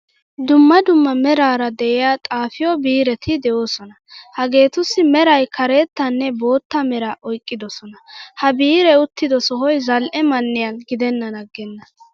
Dumma dumma merara de'iyaa xaafiyo biireti deosona. Hagetussi meray karettanne boottaa mera oyqqidosona. Ha biire uttido sohoy zal'ee man'iyan gidenan aggena.